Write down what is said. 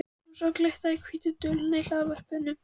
Hún sá glitta á hvítu duluna í hlaðvarpanum.